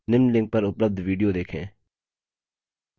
निम्न link पर उपलब्ध video देखें